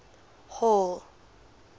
hall